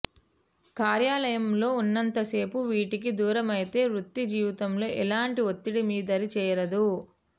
కార్యాలయంలో ఉన్నంత సేపు వీటికి దూరమైతే వృత్తి జీవితంలో ఎలాంటి ఒత్తిడి మీ దరి చేరదు